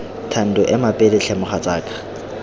thando ema pele tlhe mogatsaka